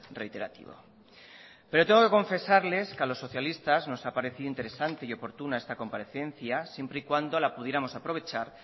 reiterativo pero tengo que confesarles que a los socialistas nos ha parecido interesante y oportuna esta comparecencia siempre y cuando la pudiéramos aprovechar